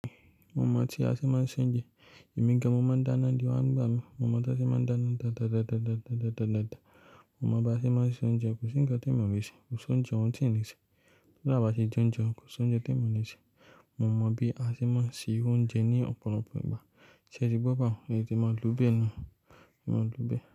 Momọ́ tí a sì máa ń ṣé oúnjẹ, èmi gan momọ́ ń dáná ni ìle wà ń gbà mí, momọ́ tán se máa ń dáná dáadáa. Momọ́ bá sì máa ń ṣé oúnjẹ kò sì ń gba tó ìmọ̀ràn rẹ̀ ṣe, kò ṣé oúnjẹ wọn sì ń rìn ṣe. Tọ́lá bá sì jẹ oúnjẹ kò ṣé oúnjẹ ti emi ole ṣe. Momọ́ bí a sì máa ń ṣi oúnjẹ ní ọ̀pọ̀lọpọ̀ ìgbà ṣe ti gbọ́ bahun, è tete máa lo bẹ̀ ni, máa lo bẹ̀.